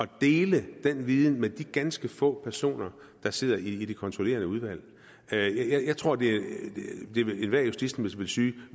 dele den viden med de ganske få personer der sidder i det kontrollerende udvalg jeg tror at enhver justitsminister ville synes at